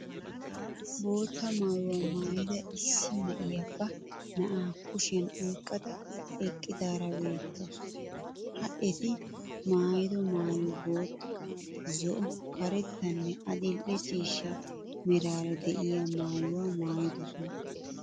Bootta maayuwa maayida issi na'iya ba na'aa kushiyan oyqqada eqqidaara beettawusu. Ha eti maayido maayoy bootta, zo'o, karettanne adil'e ciishsha meraara de'iya maayuwaa maayidosona.